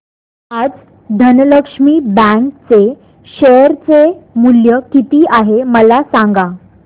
आज धनलक्ष्मी बँक चे शेअर चे मूल्य किती आहे मला सांगा